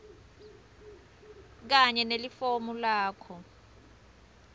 kanye nelifomu lakho